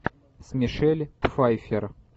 с мишель пфайффер